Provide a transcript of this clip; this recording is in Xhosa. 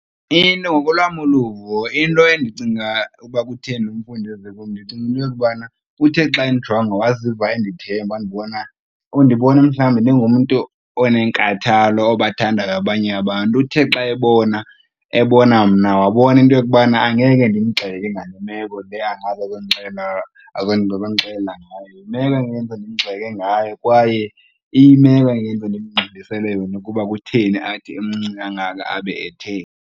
Into ngokolwam uluvo into endicinga ukuba kutheni umfundi eze kum, ndicinga into yokubana uthe xa endijonga waziva endithemba wandinbona, undibona mhlawumbi ndingumntu onenkathalo, obathandayo abanye abantu. Uthe xa ebona, ebona mna wabona into yokubana angeke ndimgxeke ngale meko le ngayo, yimeko kwaye iyimeko endingeze ndimngxolisele yona kuba kutheni athi emncinci kangaka abe etheni.